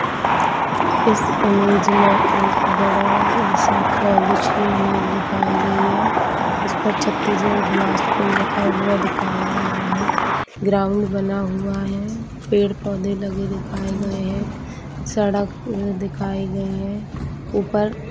इस इमेज में बड़ा-सा कॉलेज की इमेज दिखाई गई है इस पर छत्तीसगढ़ बिलासपुर लिखा हुआ दिखाया गया है ग्राउंड बना हुआ है पेड़-पौधे लगे दिखाए गए है सड़क दिखाई गई है ऊपर--